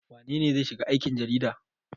Wane ne zai shiga aikin jarida?